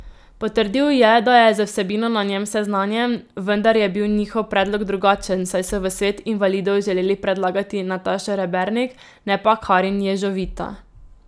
Potrdil je, da je z vsebino na njem seznanjen, vendar je bil njihov predlog drugačen, saj so v svet invalidov želeli predlagati Natašo Rebernik, ne pa Karin Ježovita.